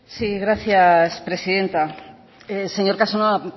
sí gracias presidenta señor casanova